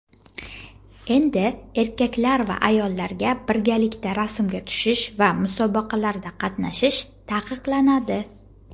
endi erkak va ayollarga birgalikda raqsga tushish va musobaqalarda qatnashish taqiqlanadi.